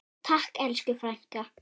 Takk elsku frænka.